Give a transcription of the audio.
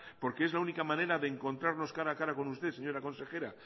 porque es la única manera de encontrarnos cara a cara con usted señora consejera